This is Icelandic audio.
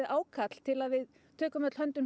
ákall til að við tökum öll höndum